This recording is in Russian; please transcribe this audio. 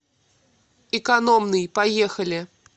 экономный поехали